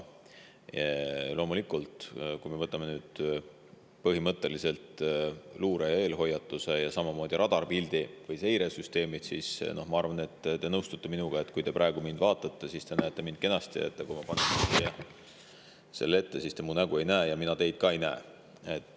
Loomulikult, kui me mõtleme põhimõtteliselt luurele, eelhoiatusele ja samamoodi radaripildile või seiresüsteemidele, siis ma arvan, et te nõustute minuga, et kui te praegu mind vaatate, siis te näete mind kenasti, aga kui ma panen siia selle ette , siis te mu nägu ei näe ja mina teid ka ei näe.